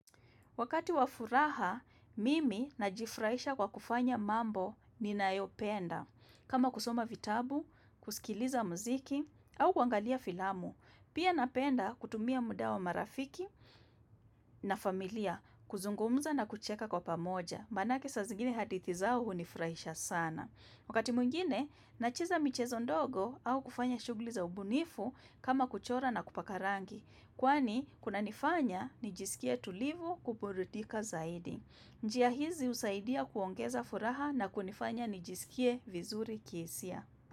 Wakati wa furaha, mimi najifurahisha kwa kufanya mambo ninayopenda. Kama kusoma vitabu, kusikiliza muziki, au kuangalia filamu. Pia napenda kutumia muda wa marafiki na familia, kuzungumza na kucheka kwa pamoja. Manake saa zingine hadithi zao hunifurahisha sana. Wakati mwingine, nacheza michezo ndogo au kufanya shughuli za ubunifu kama kuchora na kupaka rangi. Kwani kunanifanya nijisikie tulivu kuburidika zaidi. Njia hizi husaidia kuongeza furaha na kunifanya nijisikie vizuri kihisia.